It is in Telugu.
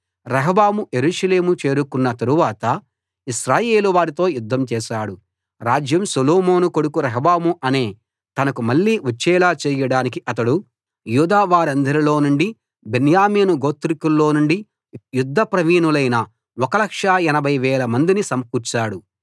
రెహబాము యెరూషలేము చేరుకున్న తరువాత ఇశ్రాయేలు వారితో యుద్ధం చేశాడు రాజ్యం సొలొమోను కొడుకు రెహబాము అనే తనకు మళ్ళీ వచ్చేలా చేయడానికి అతడు యూదా వారందరిలో నుండి బెన్యామీను గోత్రికుల్లోనుండి యుద్ధ ప్రవీణులైన 1 80000 మందిని సమకూర్చాడు